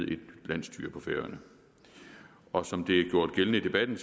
et nyt landsstyre på færøerne og som det er gjort gældende i debatten